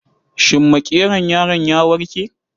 Shin makeron yaron ya warke?